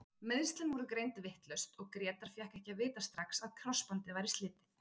Meiðslin voru greind vitlaus og Grétar fékk ekki að vita strax að krossbandið væri slitið.